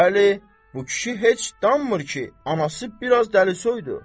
Bəli, bu kişi heç danmır ki, anası biraz dəlisoydur.